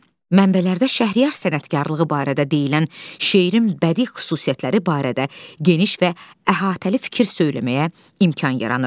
Mənbələrdə Şəhriyar sənətkarlığı barədə deyilən şeirim bədii xüsusiyyətləri barədə geniş və əhatəli fikir söyləməyə imkan yaranır.